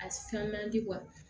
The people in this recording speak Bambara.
A san man di